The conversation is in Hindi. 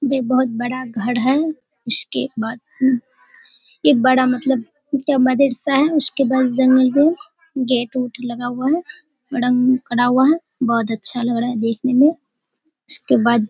ये बहुत बड़ा घर है जिसके बाथ रूम एक बड़ा मतलब मदरशा है उसके पास जमीन है गेट उठ लगा बड़ा बना हुआ है बहुत अच्छा है देखने में उसके बाद --